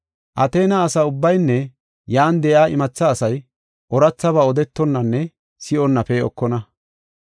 Ateena asa ubbaynne yan de7iya imatha asay oorathaba odetonanne si7onna pee7okona.